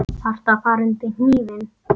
Þarftu að fara undir hnífinn?